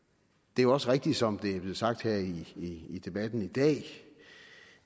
det er også rigtigt som det er blevet sagt her i i debatten i dag